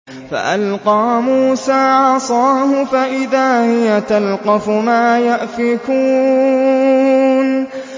فَأَلْقَىٰ مُوسَىٰ عَصَاهُ فَإِذَا هِيَ تَلْقَفُ مَا يَأْفِكُونَ